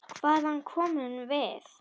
Hvaðan komum við?